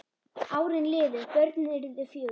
Árin liðu, börnin urðu fjögur.